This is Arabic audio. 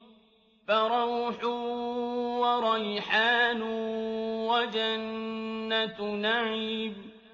فَرَوْحٌ وَرَيْحَانٌ وَجَنَّتُ نَعِيمٍ